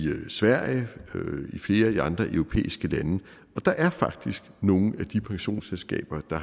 sverige og i flere af de andre europæiske lande og der er faktisk nogle af pensionsselskaberne der